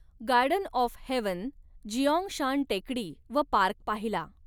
Garden of heaven, Jiangshan टेकडी व park पाहिला.